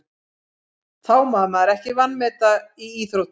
Það má maður ekki vanmeta í íþróttum.